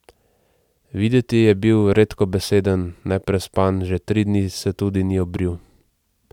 Videti je bil redkobeseden, neprespan, že tri dni se tudi ni obril.